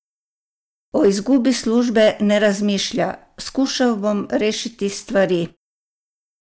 O izgubi službe ne razmišlja: "Skušal bom rešiti stvari.